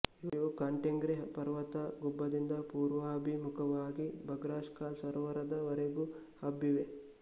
ಇವು ಕಾನ್ಟೆಂಗ್ರಿ ಪರ್ವತ ಗುಂಬದಿಂದ ಪೂರ್ವಾಭಿಮುಖವಾಗಿ ಬಗ್ರಾಷ್ ಕಾಲ್ ಸರೋವರದ ವರೆಗೂ ಹಬ್ಬಿವೆ